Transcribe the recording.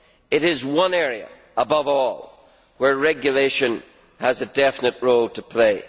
It is one area above all where regulation has a definite role to play.